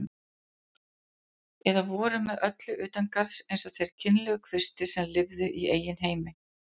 Eða voru með öllu utangarðs eins og þeir kynlegu kvistir sem lifðu í eigin heimi.